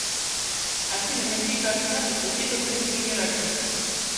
афина какие координаты у битва при скагерраке